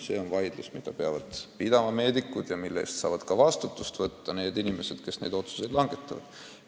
See on vaidlus, mida peavad pidama meedikud ja mille eest saavad vastutada inimesed, kes neid otsuseid langetavad.